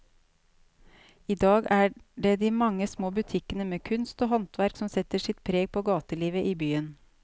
I dag er det de mange små butikkene med kunst og håndverk som setter sitt preg på gatelivet i byen.